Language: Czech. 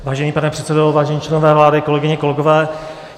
Vážený pane předsedo, vážení členové vlády, kolegyně, kolegové.